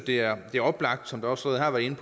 det er oplagt som der også har været